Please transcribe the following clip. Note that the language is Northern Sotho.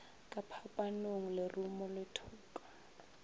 ka phapanong lerumo le thoka